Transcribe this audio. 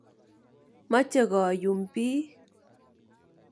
Moche koyum piik.